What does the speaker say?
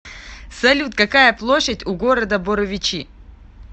салют какая площадь у города боровичи